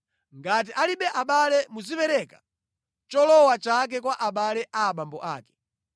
Ngati alibe abale muzipereka cholowa chake kwa abale a abambo ake.